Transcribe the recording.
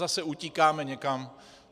Zase utíkáme někam.